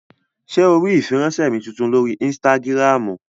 Ṣé o rí ìfiránsẹ́ mi tuntun lórí ínstágíráàmù?